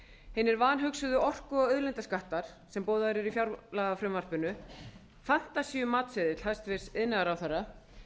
hinir vanhugsuðu orku og auðlindaskattar sem boðaðir eru í fjárlagafrumvarpinu fantasíumatseðill hæstvirtur iðnaðarráðherra